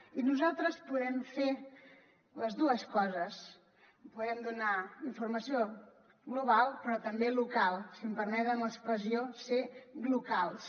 i nosaltres podem fer les dues coses podem donar informació global però també local si em permeten l’expressió ser glocals